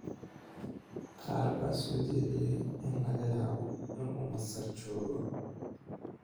Qaar baa soo jeediyay in laga yaabo inuu Masar joogo.